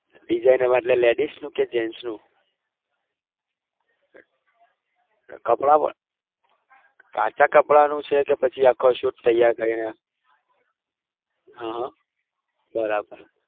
ladies નું કે gents નું કાચા કપડાનું છે કે પછી આખા શૂટ તેયાર કરી હમમ બરાબર